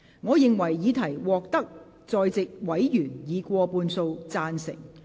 我認為議題獲得在席委員以過半數贊成。